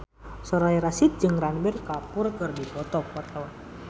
Soraya Rasyid jeung Ranbir Kapoor keur dipoto ku wartawan